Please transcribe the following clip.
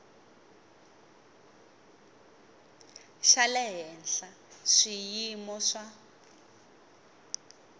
xa le henhla swiyimo swa